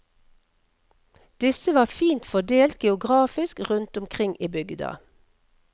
Disse var fint fordelt geografisk rundt omkring i bygda.